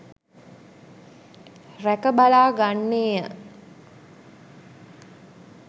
රැක බලා ගන්නේය.